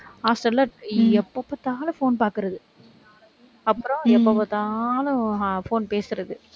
hostel ல எப்ப பாத்தாலும் phone பாக்கறது அப்புறம் எப்ப பாத்தாலும் phone பேசுறது.